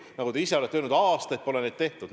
Nagu te ise olete öelnud, aastaid pole neid tehtud.